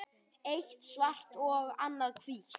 Eitt svart og annað hvítt.